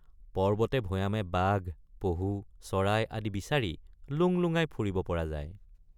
পৰ্বতেভৈয়ামে বাঘ পহু চৰাই আদি বিচাৰি লুংলুঙাই ফুৰিব পৰা যায়।